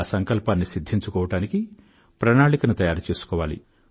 ఆ సంకల్పాన్ని సిధ్ధించుకోవడానికి ప్రణాళికను తయారుచేసుకోవాలి